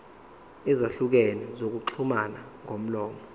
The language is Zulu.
ezahlukene zokuxhumana ngomlomo